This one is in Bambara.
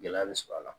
Gɛlɛya bɛ sɔrɔ a la